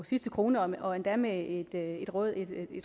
sidste krone og endda med et